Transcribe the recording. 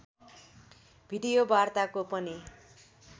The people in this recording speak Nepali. भिडियो वार्ताको पनि